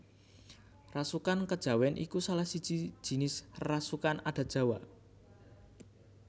Rasukan Kejawen iku salahsiji jinis rasukan adat Jawa